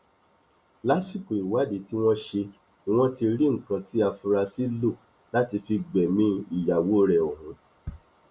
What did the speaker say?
lásìkò ìwádìí tí wọn ṣe ni wọn ti rí nǹkan tí afurasí lò láti fi gbẹmí ìyàwó rẹ ọhún